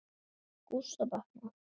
Gústa batnar.